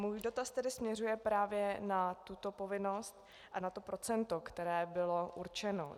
Můj dotaz tedy směřuje právě na tuto povinnost a na to procento, které bylo určeno.